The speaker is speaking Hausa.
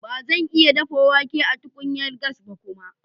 Ba zan iya dafa wake da tukunyar gas ba kuma.